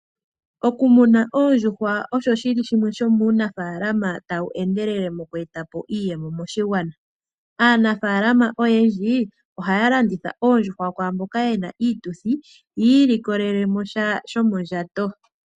Okumuna oondjuhwa osho shi li shimwe sho muunafalama taku endelele moku eta po iiyemo moshigwana. Aanafalama oyendji ohaya landitha oondjuhwa kwaamboka yena iituthi. Ya ilikolele mo sha shomondjato.